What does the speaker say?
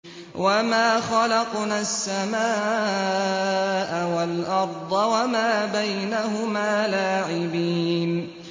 وَمَا خَلَقْنَا السَّمَاءَ وَالْأَرْضَ وَمَا بَيْنَهُمَا لَاعِبِينَ